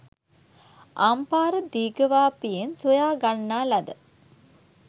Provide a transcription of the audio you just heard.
අම්පාර දීඝවාපියෙන් සොයා ගන්නා ලද